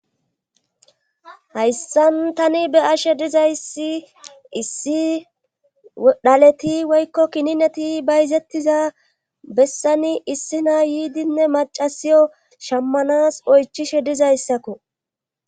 Hayssan tani be ashe dizayssi issi dhaleti woykko kinineti bayzettiza bessani issina yiidinne macasiyo shammanas oychishe dizayssakko.